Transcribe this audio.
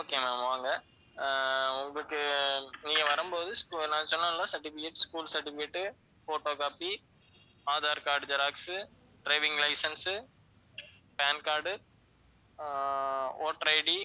okay ma'am வாங்க. அஹ் உங்களுக்கு நீங்க வரும்போது நான் சொன்னேன்ல certificates, school certificate, photo copy, aadhar card xerox, driving license, pan card uh voterID